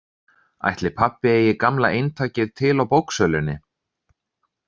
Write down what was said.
Ætli pabbi eigi gamla eintakið til á bóksölunni?